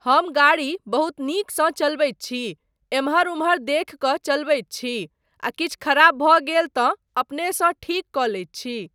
हम गाड़ी बहुत नीकसँ चलबैत छी, एम्हर उम्हर देखि कऽ चलबैत छी आ किछु खराब भऽ गेल तँ अपनेसँ ठीक कऽ लैत छी।